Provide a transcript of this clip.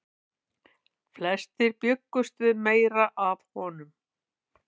Flestir bjuggust við meiru af honum.